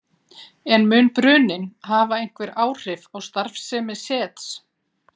En mun bruninn hafa einhver áhrif á starfsemi Sets?